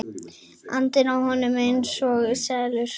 Syndi í honum einsog selur.